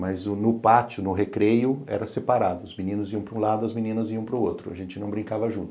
Mas no pátio, no recreio, era separado, os meninos iam para um lado, as meninas iam para o outro, a gente não brincava junto.